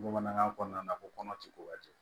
Bamanankan kɔnɔna na ko kɔnɔ ti ko ka jɛ